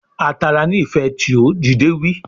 A tara ni ife tio, dide wi